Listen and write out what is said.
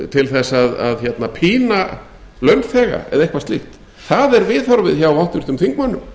til þess að pína launþega eða eitthvað slíkt það er viðhorfið hjá háttvirtum þingmönnum